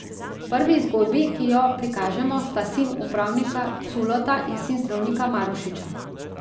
V prvi zgodbi, ki jo prikažemo, sta sin upravnika Culota in sin zdravnika Marušiča.